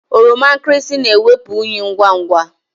Oroma nkịrịsị na-ewepụ unyị ngwa ngwa.